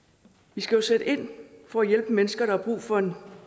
vi skal jo sætte ind for at hjælpe mennesker der har brug for en